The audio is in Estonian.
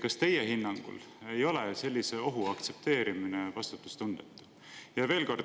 Kas teie hinnangul ei ole sellise ohu aktsepteerimine vastutustundetu?